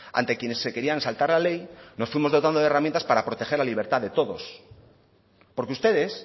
ante quienes se querían saltar la ley nos fuimos dotando de herramientas para proteger la libertad de todos porque ustedes